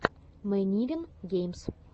мэнирин геймс